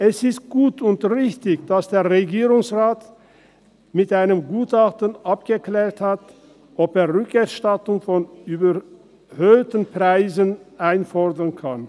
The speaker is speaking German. Es ist gut und richtig, dass der Regierungsrat mit einem Gutachten abgeklärt hat, ob er die Rückerstattung von überhöhten Preisen einfordern kann.